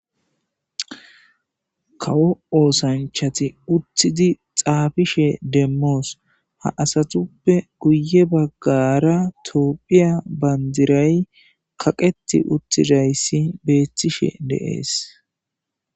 Kawo oosanchchatti uuttidii xaafishe demos ha aatuppe guye baggara tophphiya bandiray kaqetti uuttidiiyssi betishe de'es